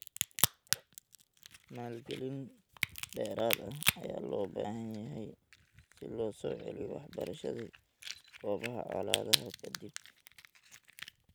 Maalgelin dheeraad ah ayaa loo baahan yahay si loo soo celiyo waxbarashadii goobaha colaadaha ka dib.